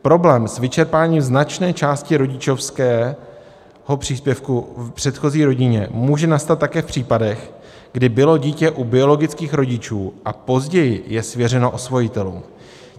Problém s vyčerpáním značné částky rodičovského příspěvku v předchozí rodině může nastat také v případech, kdy bylo dítě u biologických rodičů, a později je svěřeno osvojitelům.